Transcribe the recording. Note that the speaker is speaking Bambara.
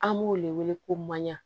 An b'o de wele ko maɲan